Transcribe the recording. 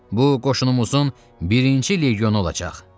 Bu qoşunumuzun birinci legionu olacaq.